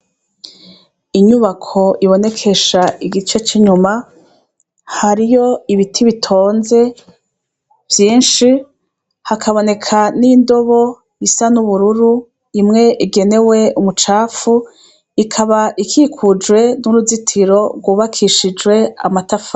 Inyubako ibonekesha igice c'inyuma, hariho ibiti bitonze vyinshi, hakaboneka n'indobo isa n'ubururu, imwe igenewe umucafu, ikaba ikikujwe n'uruzitiro rwubakishije amatafari.